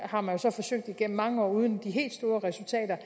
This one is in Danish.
har man så forsøgt igennem mange år uden de helt store resultater